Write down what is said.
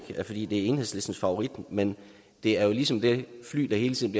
fordi det er enhedslistens favorit men det er ligesom det fly der hele tiden